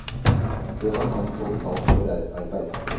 Det man kan få betalt for er arbeid.